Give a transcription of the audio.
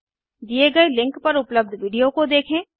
दिए गए लिंक पर उपलब्ध विडिओ को देखें